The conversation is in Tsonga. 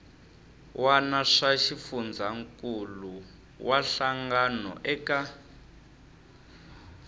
wana swa xifundzankuluwa hlangano eka